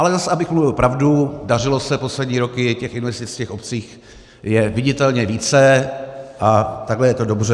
Ale zase abych mluvil pravdu, dařilo se poslední roky, těch investic v obcích je viditelně více a takhle je to dobře.